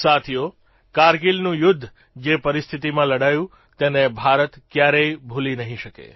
સાથીઓ કારગીલનું યુદ્ધ જે પરિસ્થિતીમાં લડાયું તેને ભારત ક્યારેય ભૂલી નહીં શકે